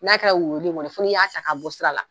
N'a kɛra woyowoyoli in ye fɔ n'i y'a ta ka bɔ sira la.